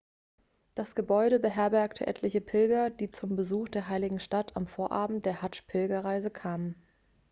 das gebäude beherbergte etliche pilger die zum besuch der heiligen stadt am vorabend der hadsch-pilgerreise kamen